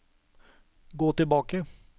gå tilbake